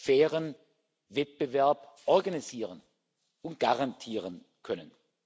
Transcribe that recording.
fairen Wettbewerb organisieren und garantieren können.